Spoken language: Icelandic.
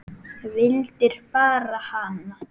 Vildir bara hana.